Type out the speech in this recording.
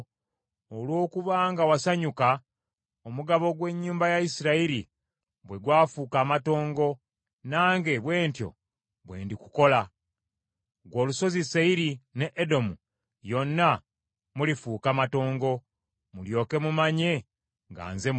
Olw’okuba nga wasanyuka, omugabo gw’ennyumba ya Isirayiri bwe gwafuuka amatongo nange bwe ntyo bwe ndikukola. Ggwe olusozi Seyiri ne Edomu yonna mulifuuka matongo, mulyoke mumanye nga nze Mukama .’”